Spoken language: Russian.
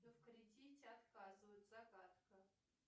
но в кредите отказывают загадка